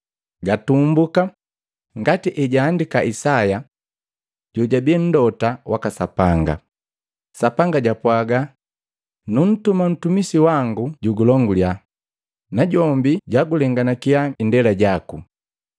Gatumbuka ngati ejaandika Isaya jojabii Mlota waka Sapanga, “Sapanga japwaaga, ‘Nuntuma mtumisi wango jugulongulya, Najombi jugulenganakiya indela jaku.’